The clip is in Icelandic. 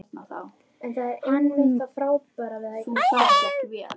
Hann miðaði á hjartað en hitti blöðruna.